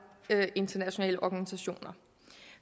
internationale organisationer